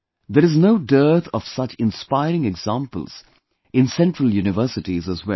There is no dearth of such inspiring examples in Central Universities as well